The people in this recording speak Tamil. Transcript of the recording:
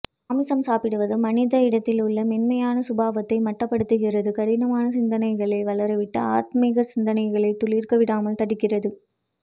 மாமிசம் சாப்பிடுவது மனிதனிடத்தில் உள்ள மென்மையான சுபாவத்தை மட்டுபடுத்துகிறது கடினமான சிந்தனைகளை வளரவிட்டு ஆத்மீக சிந்தனைகளை துளிர்க்க விடாமல் தடுக்கிறது